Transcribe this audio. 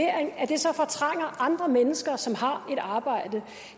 andre mennesker som har et arbejde